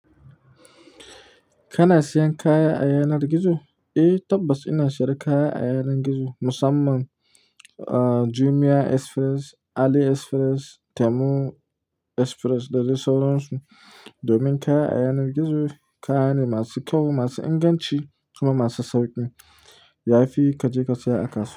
Kana siyan kaya a yanar gizo? Eh tabbas ina siyar kaya a yanar gizo, musamman ah Jumia Express, Ali Express, Temu Express dade sauransu. Domin kaya a yanar gizo kaya ne masu kyau, masu inganci kuma masu sauƙi. Yayi fi kaje kasaya a kasuwa.